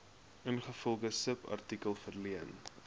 ingevolge subartikel verleen